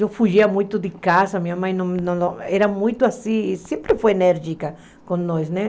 Eu fugia muito de casa, minha mãe não não era muito assim, sempre foi enérgica com nós né.